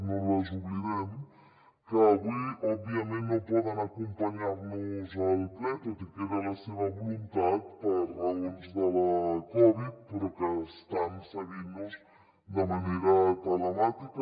no les oblidem que avui òbviament no poden acompanyar nos al ple tot i que era la seva voluntat per raons de la covid però que estan seguint nos de manera telemàtica